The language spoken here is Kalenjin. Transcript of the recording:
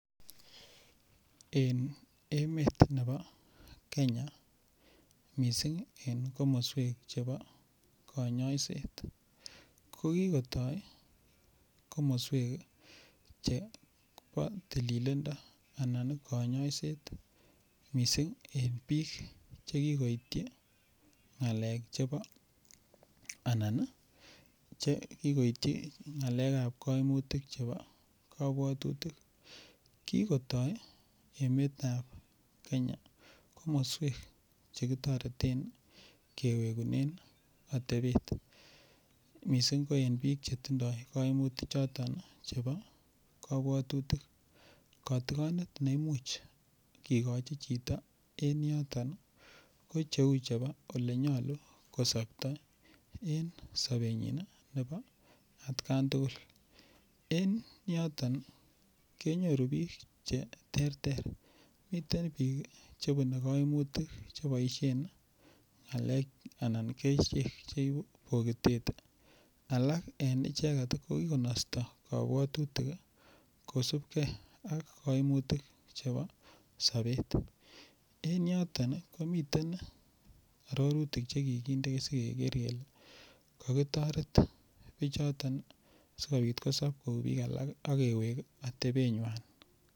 En emetab nebo Kenya mising en komoswek chebo kanyoiset kogitoi komoswek chebo tililindo anan kanyaiset mising en bik Che kigoityi ngalek chebo Che kigoitoityi ngalekab koimutik chebo kabwatutik kigotoi emetab Kenya komoswek Che kitoreten kewegunen atebet mising ko en bik Che tindoi koimutichoto chebo kabwatutik kotigonet ne imuchi kigochi chito ko cheu chebo Ole nyolu ko sopto en sobenyin nebo atgan tugul en yoton kenyoru bik Che terter miten bik Che bune kaimutik Che boisien kerichek Che ibu bogitet ak alak en icheget ko ki konosto kabwatutik kosubge ak kaimutik Chebo sobet en yoton ko miten arorutik Che kikinde asi keker kele kokitoret bichoton asikobit kosob kou bik alak ak kewek atebenywan